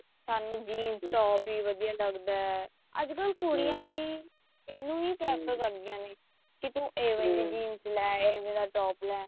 ਸਾਨੂੰ jeans top ਹੀ ਵਧੀਆ ਲੱਗਦਾ ਅੱਜਕਲ ਇਹਨੂੰ ਹੀ prefer ਕਰਦੀਆਂ ਨੇ ਕੀ ਤੂੰ ਏਵੇਂ ਦੀ jean ਲੈ ਏਵੇਂ ਦਾ top ਲੈ